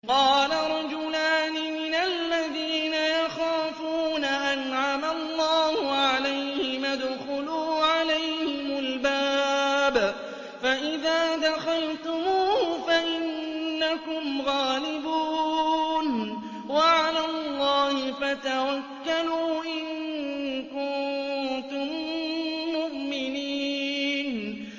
قَالَ رَجُلَانِ مِنَ الَّذِينَ يَخَافُونَ أَنْعَمَ اللَّهُ عَلَيْهِمَا ادْخُلُوا عَلَيْهِمُ الْبَابَ فَإِذَا دَخَلْتُمُوهُ فَإِنَّكُمْ غَالِبُونَ ۚ وَعَلَى اللَّهِ فَتَوَكَّلُوا إِن كُنتُم مُّؤْمِنِينَ